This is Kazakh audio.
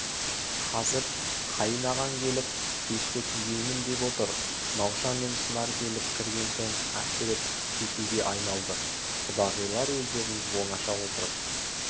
қазір қайын ағаң келіп пешті түзеймін деп отыр науша мен шынар келіп кірген соң әсіреп кетуге айналды құдағилар өздерің оңаша отырып